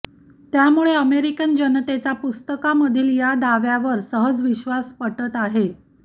त्यामुळे अमेरिकन जनतेचा पुस्तकामधील या दाव्यावर सहज विश्वास पटत आहे